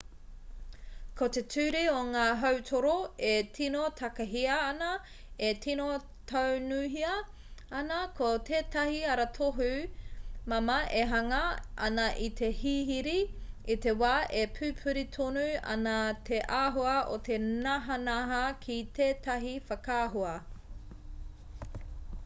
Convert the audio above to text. ko te ture o ngā hautoru e tino takahia ana e tino taunuhia ana ko tētahi aratohu māmā e hanga ana i te hihiri i te wā e pupuri tonu ana te āhua o te nahanaha ki tētahi whakaahua